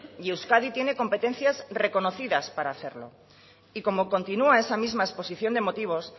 y euskadi tiene competencias reconocidas para hacerlo y como continua esa misma exposición de motivos